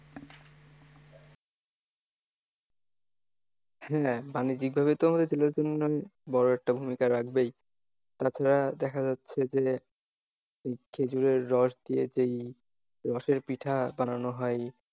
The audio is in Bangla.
হ্যাঁ বাণিজ্যিকভাবে তো আমাদের জেলার জন্যে বড়ো একটা ভূমিকা রাখবেই তাছাড়া দেখা যাচ্ছে যে খেঁজুরের রস দিয়ে যেই রসের পিঠা বানানো হয়,